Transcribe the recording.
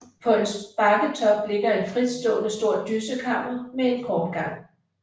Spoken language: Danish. På en bakketop ligger et fritstående stort dyssekammer med en kort gang